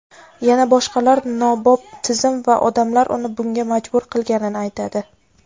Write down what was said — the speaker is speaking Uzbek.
yana boshqalar nobop tizim va odamlar uni bunga majbur qilganini aytadi.